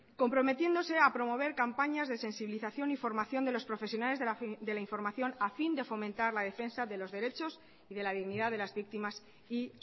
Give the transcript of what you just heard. comprometiéndose a promover campañas de sensibilización y formación de los profesionales de la información a fin de fomentar la defensa de los derechos y de la dignidad de las víctimas y